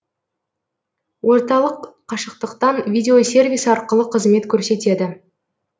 орталық қашықтықтан видеосервис арқылы қызмет көрсетеді